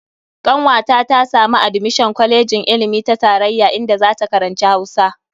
Kanwata ta samu admishon a kwalejin ilimi ta tarayya inda zata karanci Hausa.